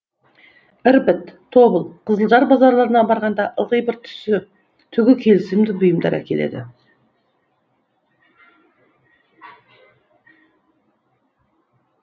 ірбіт тобыл қызылжар базарларына барғанда ылғи бір түсі түгі келісімді бұйымдар әкеледі